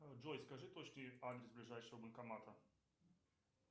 джой скажи точный адрес ближайшего банкомата